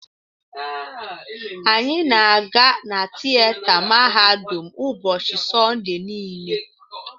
Anyị na-aga na tieta mahadum ụbọchị Sọnde niile.